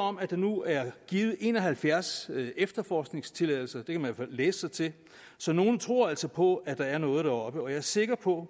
om at der nu er givet en og halvfjerds efterforskningstilladelser det kan man fald læse sig til så nogle tror altså på at der er noget deroppe jeg er sikker på